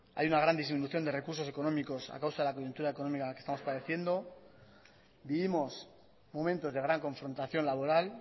hay una gran disminución de recursos económicos a causa de la coyuntura económica que estamos padeciendo vivimos momentos de gran confrontación laboral